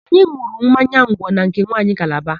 Anyị n̄ụrụ mmanya ngwọ na nke nwanyị Kalaba.